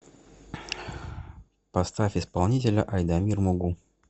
поставь исполнителя айдамир мугу